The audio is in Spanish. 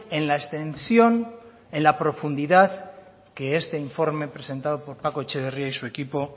en la extensión en la profundidad que este informe presentado por paco etxeberria y su equipo